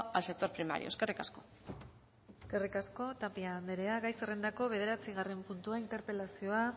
al sector primario eskerrik asko eskerrik asko tapia anderea gai zerrendako bederatzigarren puntua interpelazio